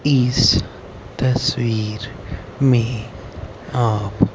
इस तस्वीर में आप--